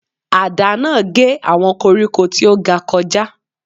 Àdá náà gé àwọn koríko tí ó ga kọjá.